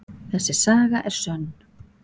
Þessi saga er sönn.